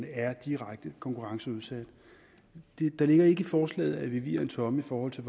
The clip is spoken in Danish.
er direkte konkurrenceudsatte der ligger ikke i forslaget at vi viger en tomme i forhold til